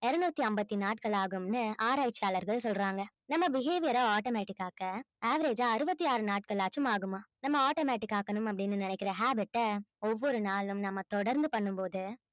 இருநூற்றி ஐம்பத்தி நாட்கள் ஆகும்ன்னு ஆராய்ச்சியாளர்கள் சொல்றாங்க நம்ம behaviour அ automatic ஆக்க average அ அறுபத்தி ஆறு நாட்களாச்சும் ஆகுமாம் நம்ம automatic ஆக்கணும் அப்படின்னு நினைக்கிற habit அ ஒவ்வொரு நாளும் நம்ம தொடர்ந்து பண்ணும் போது